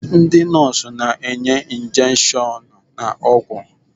Ndị nọọsụ na-enye injections na ọgwụ.